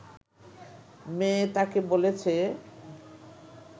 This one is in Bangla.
মেয়ে তাকে বলেছে